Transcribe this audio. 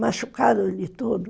Machucaram ele todo.